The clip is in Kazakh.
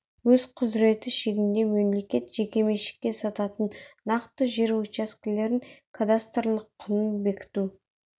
өз құзыреті шегінде мемлекет жеке меншікке сататын нақты жер учаскелерінің кадастрлық құнын бекіту